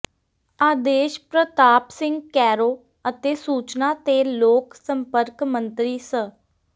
ਆਦੇਸ਼ ਪ੍ਰਤਾਪ ਸਿੰਘ ਕੈਰੋਂ ਅਤੇ ਸੂਚਨਾ ਤੇ ਲੋਕ ਸੰਪਰਕ ਮੰਤਰੀ ਸ